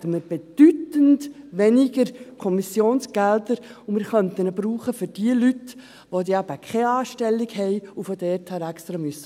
Dann hätten wir bedeutend weniger Kommissionsgelder, und wir könnten das Geld für jene Leute einsetzen, die keine Anstellung beim Kanton haben und extra herkommen müssen.